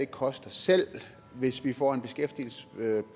koster selv hvis vi får en beskæftigelsesprocent